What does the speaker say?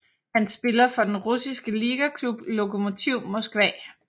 Han spiller for den russiske ligaklub Lokomotiv Moskva